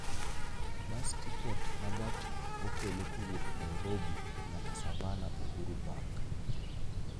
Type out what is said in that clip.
Bus tiket ma gach okolokowuok Nairobi nyaka Savannah Uhuru Park